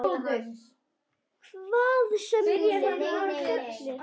Hvað sem þeir voru fullir.